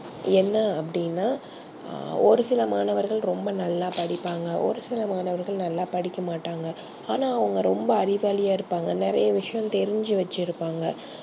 என்ன அப்டினா ஒரு சில மாணவர்கள் ரொம்ப நல்லா படிப்பாங்க ஒரு சில மாணவர்கள் நல்லா படிக்க மாட்டாங்க ஆனா அவங்க ரொம்ப அறிவாலியா இருபாங்க நிறைய விஷயம் தெரிஞ்சி வச்சியிருபாங்க